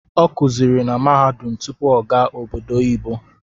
Ọ kuziri na mahadum tutpu ọ gaa obodo oyibo